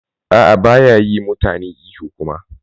A'a baya yi mutane ihu kuma.